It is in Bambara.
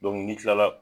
n'i kila la